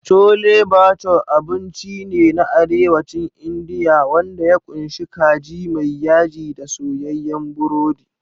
Chole Bhature abinci ne na Arewacin Indiya wanda ya ƙunshi kaji mai yaji da soyayyen burodi.